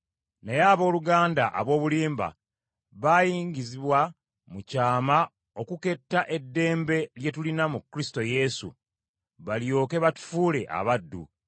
Naye olw’abooluganda ab’obulimba abaayingizibwa mu kyama okuketta eddembe lye tulina mu Kristo Yesu, balyoke batufuule abaddu,